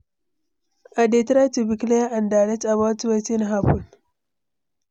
I dey try to be clear and direct about wetin happen.